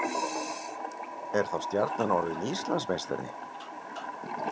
Er þá Stjarnan orðið Íslandsmeistari?